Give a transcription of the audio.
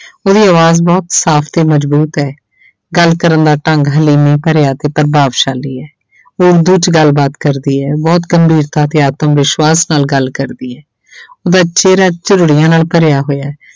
ਉਹਦੀ ਆਵਾਜ਼ ਬਹੁਤ ਸਾਫ਼ ਤੇ ਮਜ਼ਬੂਤ ਹੈ ਗੱਲ ਕਰਨ ਦਾ ਢੰਗ ਹਲੀਮੀ ਭਰਿਆ ਤੇ ਪ੍ਰਭਾਵਸ਼ਾਲੀ ਹੈ ਉਹ ਉਰਦੂ 'ਚ ਗੱਲਬਾਤ ਕਰਦੀ ਹੈ ਬਹੁਤ ਗੰਭੀਰਤਾ ਤੇ ਆਤਮਵਿਸ਼ਵਾਸ ਨਾਲ ਗੱਲ ਕਰਦੀ ਹੈ ਚਿਹਰਾ ਝੁਰੜੀਆਂ ਨਾਲ ਭਰਿਆ ਹੋਇਆ ਹੈ।